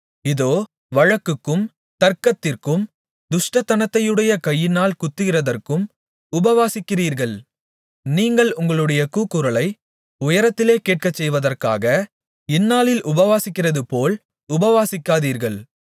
இதோ வழக்குக்கும் தர்க்கத்திற்கும் துஷ்டத்தனத்தையுடைய கையினால் குத்துகிறதற்கும் உபவாசிக்கிறீர்கள் நீங்கள் உங்களுடைய கூக்குரலை உயரத்திலே கேட்கச்செய்வதற்காக இந்நாளில் உபவாசிக்கிறதுபோல் உபவாசிக்காதீர்கள்